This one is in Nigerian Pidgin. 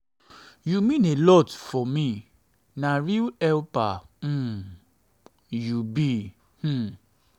you mean a lot for um me na real helper um you um you be. um